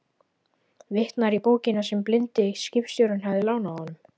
Vitnar í bókina sem blindi skipstjórinn hafði lánað honum.